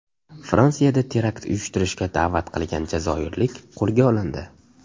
Fransiyada terakt uyushtirishga da’vat qilgan jazoirlik qo‘lga olindi.